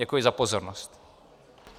Děkuji za pozornost.